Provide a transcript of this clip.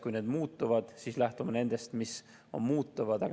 Kui need muutuvad, siis lähtume nendest, mis on muutunud.